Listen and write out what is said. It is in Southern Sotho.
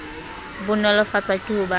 bo nolofatswa ke ho ba